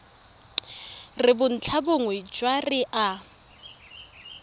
re bontlhabongwe jwa re a